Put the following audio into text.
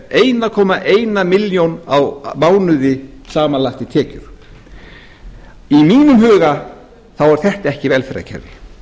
einum komma eina milljón á mánuði samanlagt í tekjur í mínum huga er þetta ekki velferðarkerfi